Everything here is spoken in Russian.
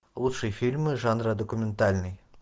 лучшие фильмы жанра документальный